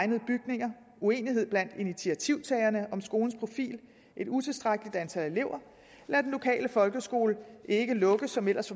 egnede bygninger uenighed blandt initiativtagerne om skolens profil et utilstrækkeligt antal elever eller at den lokale folkeskole ikke lukkes som ellers